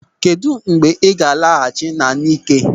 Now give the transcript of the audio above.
Kedụ mgbe ọ ga-alaghachi n'Ńịké?